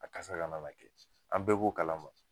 A kasa ka nana kɛ, an bɛɛ bo kalama